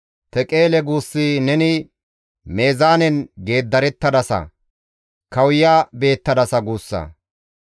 Teqeele! Guussi, ‹Neni meezaanen geeddarettadasa; kawuya beettadasa› guussa.